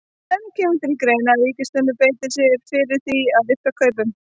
En kemur til greina að ríkisstjórnin beiti sér fyrir því að rifta kaupunum?